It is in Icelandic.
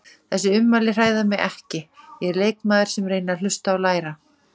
Þessi ummæli hræða mig ekki, ég er leikmaður sem reyni að hlusta og læra.